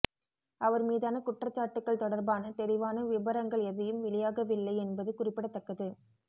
அவர் மீதான குற்றச்சாட்டுக்கள் தொடர்பான தெளிவான விபரங்கள் எதையும் வெளியாகவில்லை என்பது குறிப்பிடத்தக்கது